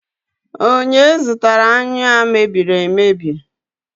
onye zụtara anyụ a emebi emebi